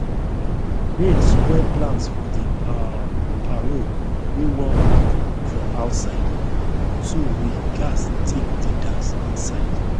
rain spoil plans for the um parole wey won happen for outside so we gas take the dance inside